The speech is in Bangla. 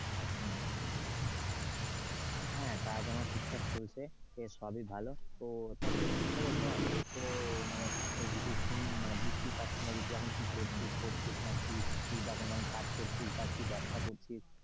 হ্যাঁ কাজ আমার ঠিকঠাক চলছে। সবই ভালো, তো তা তোর কি খবর বল তোর তো মানে কিছু শুনতে মানে বুঝতেই পারছি না কিছু, এখন কি করছিস না কি বা কোনো কাজ করছিস বা ব্যাবসা করছিস?